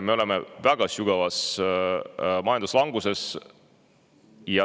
Me oleme väga sügavas majanduslanguses.